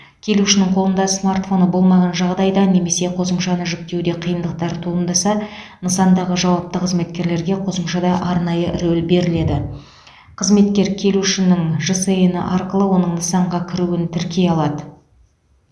келушінің қолында смартфоны болмаған жағдайда немесе қосымшаны жүктеуде қиындықтар туындаса нысандағы жауапты қызметкерге қосымшада арнайы рөл беріледі қызметкер келушінің жсн і арқылы оның нысанға кіруін тіркей алады